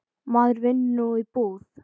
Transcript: Maður vinnur nú í búð.